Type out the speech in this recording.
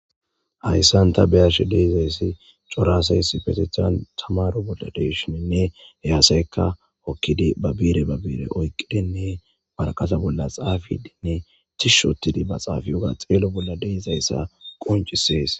Hayisan ta be'ashe dizayis coora asay issipetethan tamaro bolla deishinee he asayka ba bire oyikidine wariate bolla xapidinee tishi othi xapewuga xelidi de'es